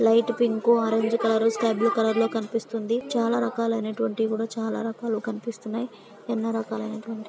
light pink orange colour sky blue కలర్లో కనిపిస్తుంది చాలా రకాలు అయినటువంటి కూడా చాలా రకాలు కనిపిస్తున్నాయి ఎన్నో రకాలు అయినటువంటి--